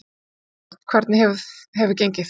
Valgeir Örn: Hvernig hefur gengið?